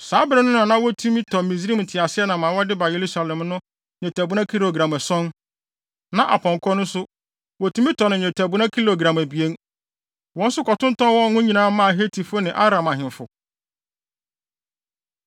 Saa bere no na wotumi tɔ Misraim nteaseɛnam a wɔde ba Yerusalem no nnwetɛbona kilogram ason, na apɔnkɔ nso, wotumi tɔ no nnwetɛbona kilogram abien. Wɔn nso kɔtontɔn wɔn nyinaa maa Hetifo ne Aram ahemfo.